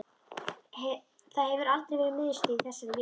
Það hefur aldrei verið miðstöð í þessari vél